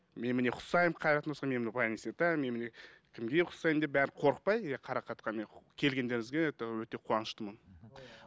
мен міне ұқсаймын мен міне кімге ұқсаймын деп бәрі қорықпай ы қарақатқа міне келгендеріңізге это өте қуаныштымын мхм